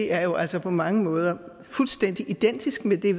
er jo altså på mange måder fuldstændig identisk med det